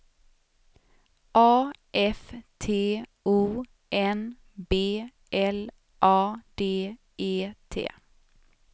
A F T O N B L A D E T